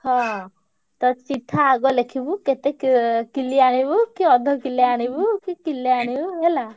ହଁ ତ ଚିଠା ଆଗ ଲେଖିବୁ। କେତେ କି କିଲେ ଆଣିବୁ କି ଅଧ କିଲେ ଆଣିବୁ କି କିଲେ ଆଣିବୁ ହେଲା।